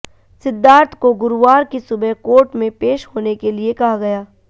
सिद्धार्थ को गुरुवार की सुबह कोर्ट में पेश होने के लिए कहा गया